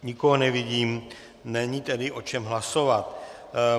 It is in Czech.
Nikoho nevidím, není tedy o čem hlasovat.